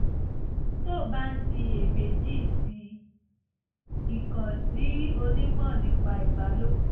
tó o bá ń ṣiyèméjì sí i kàn sí onímọ̀ nípa ìbálòpọ̀